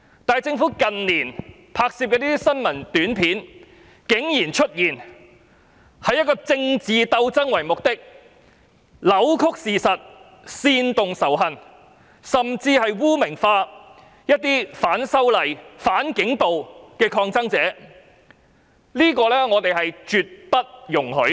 但是，政府近年拍攝的新聞短片竟然以政治鬥爭為目的，扭曲事實、煽動仇恨，甚至將一些反修例、反警暴的抗爭者污名化，我認為這是絕對不能夠容許的。